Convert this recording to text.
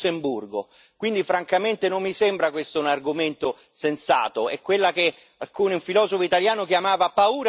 Noi oggi abbiamo un Presidente della Commissione che viene dal Lussemburgo e quindi francamente non mi sembra questo un argomento sensato.